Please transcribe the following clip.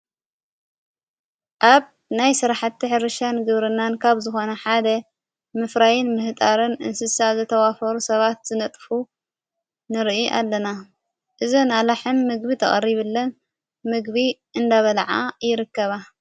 አብ ናይ ሥራሕቲ ሕርሻን ግብርናን ካብ ዝኾነ ሓደ ምፍራይን ምህጣርን እንስሳ ዘተዋፈሩ ሰባት ዘነጥፉ ንርኢ ኣለና እዝ ንኣላ ሕም ምግቢ ተቐሪብለን ምግቢ እንዳበላዓ ይርከባ::